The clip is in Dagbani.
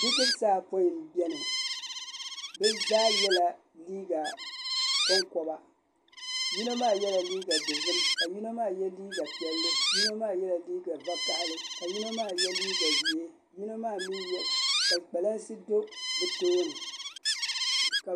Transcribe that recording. Bidibsi ayopoin n biɛni bi zaa yɛla liiga koŋkoba yino maa yɛla liiga dozim ka yino maa yɛ liiga piɛlli yino maa yɛla liiga vakahali ka yino maa yɛ liiga ʒiɛ ka kpalansi do bi tooni